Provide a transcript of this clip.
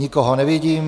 Nikoho nevidím.